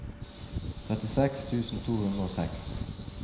trettiseks tusen to hundre og seks